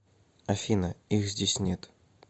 афина их здесь нет